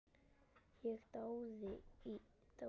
Ég dáði